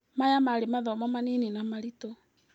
Maya marĩ mathomo manini na maritũ.